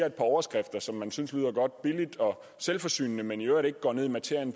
et par overskrifter som man synes lyder godt billigt og selvforsynende men i øvrigt ikke går ned i materien